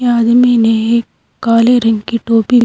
आदमी ने एक काले रंग की टोपी --